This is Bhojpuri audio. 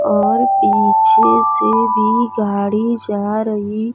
और पीछे से भी गाड़ी जा रही --